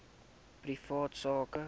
privaat sak